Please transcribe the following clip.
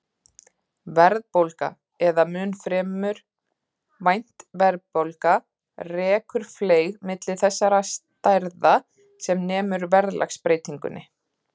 Verðbólga, eða mun fremur vænt verðbólga, rekur fleyg milli þessara stærða sem nemur verðlagsbreytingunni.